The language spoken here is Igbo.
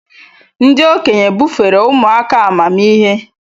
Ndị okenye bufere ụmụ aka amamihe.